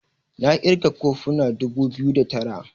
na kirga kofuna dubu biyu da Tara